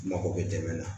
Mako bɛ dɛmɛ na